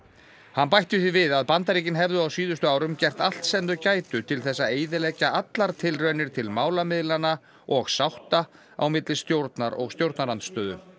hann bætti því við að Bandaríkin hefðu á síðustu árum gert allt sem þau gætu til þess að eyðileggja allar tilraunir til málamiðlana og sátta á milli stjórnar og stjórnarandstöðu